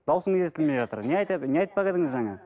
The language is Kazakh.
дауысыңыз естілмей жатыр не айтады не айтпақ едіңіз жаңа